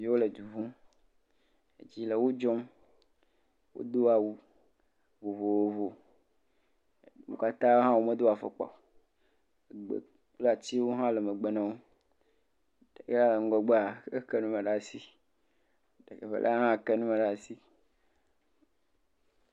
Wole du ƒum. Dzi le wo dzɔm. wodo awu vovovo. Wo katã hã womedo afɔkpa o kple atsiwo hã le megbe na wo. Eya le ŋgɔgbea eke nume ɖe asi. Evelia hã ke nume ɖe asi.